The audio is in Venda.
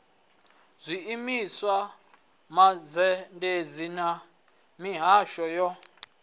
zwiimiswa mazhendedzi na mihasho yo